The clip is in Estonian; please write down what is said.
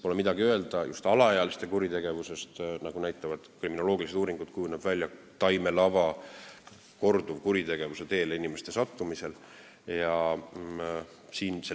Pole midagi öelda, just alaealiste kuritegevusest, nagu näitavad kriminoloogilised uuringud, kujuneb välja taimelava inimeste korduvkuritegevuse teele sattumiseks.